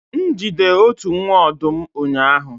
m jide otu nwa ọdụm ụnyahụ